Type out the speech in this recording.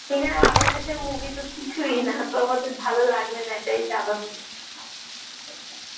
সেখানে বাংলাদেশের movie তো কিছুই না তো আমাদের ভালো লাগবে না এটাই স্বাভাবিক